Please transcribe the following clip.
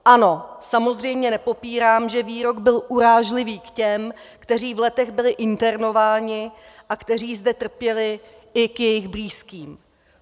Ano, samozřejmě nepopírám, že výrok byl urážlivý k těm, kteří v Letech byli internováni a kteří zde trpěli, i k jejich blízkým.